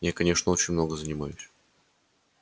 я конечно очень много занимаюсь